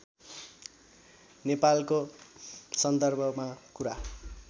नेपालको सन्दर्भमा कुरा